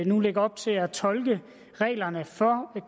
nu lægge op til at tolke reglerne for